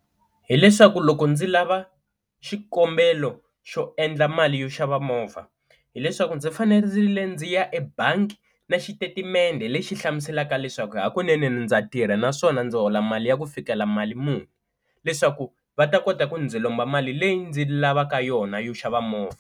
Hi leswaku loko ndzi lava xikombelo xo endla mali yo xava movha hileswaku ndzi fanele ndzi ya ebangi na xitetimende lexi hlamuselaka leswaku hakunene ndza tirha naswona ndzi hola mali ya ku fikela mali muni, leswaku va ta kota ku ndzi lomba mali leyi ndzi lavaka yona yo xava movha.